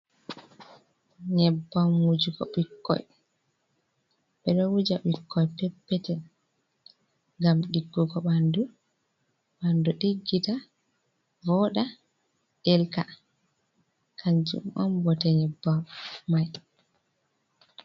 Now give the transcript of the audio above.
Nyebbam wujugo ɓikkoi, ɓe ɗo wuja ɓikkoi pep peton ngam ɗiggugo ɓanɗu, ɓanɗu ɗiggita, voɗa, ɗelka. Kanjum on bote nyebbam mai.